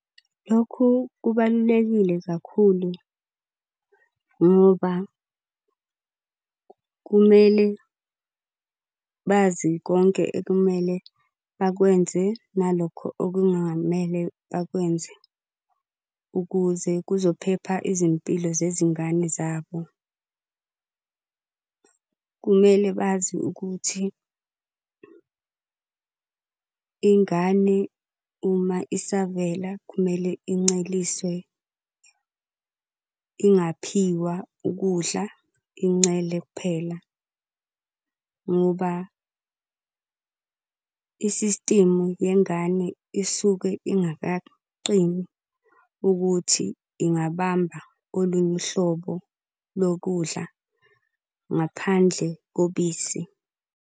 Lokhu kubalulekile kakhulu ngoba kumele bazi konke ekumele bakwenze nalokho okungamele bakwenze, ukuze kuzophepha izimpilo zezingane zabo. Kumele bazi ukuthi ingane uma isavela kumele inceliswe ingaphiwa ukudla, incele kuphela. Ngoba isistimu yengane isuke ingakaqini ukuthi ingabamba olunye uhlobo lokudla ngaphandle kobisi.